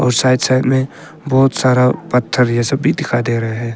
और side side में बहुत सारा पत्थर ये सब भी दिखाई दे रहे है।